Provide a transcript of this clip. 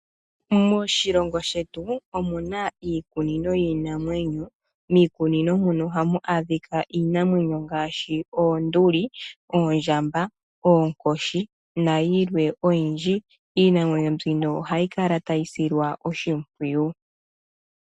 Moshilongo shetu omu na iikunino yiinamwenyo. Miikunino muno ohamu adhika iinamwenyo ngaashi oonduli, oondjamba , oonkoshi nayilwe oyindji. Iinamwenyo mbino ohayi kala tayi silwa oshimpwiyu.